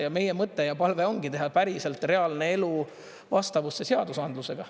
Ja meie mõte ja palve ongi teha päriselt reaalne elu vastavusse seadusandlusega.